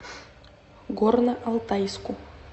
горно алтайску